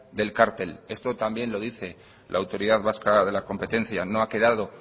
del cártel esto también lo dice la autoridad vasca de la competencia no ha quedado